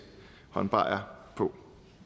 håndbajere på